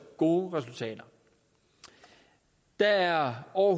gode resultater der er over